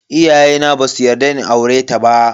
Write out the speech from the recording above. Iyayena basu yarda in aureta ba.